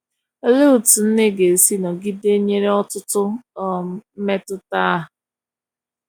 olee etụ nne ga esi nọgide nyere ọtụtụ um mmetụta a.